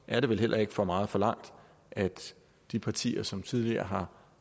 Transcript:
er det vel heller ikke for meget forlangt at de partier som tidligere